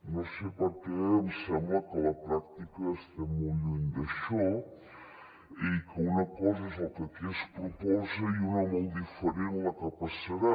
no sé per què em sembla que a la pràctica estem molt lluny d’això i que una cosa és el que aquí es proposa i una molt diferent la que passarà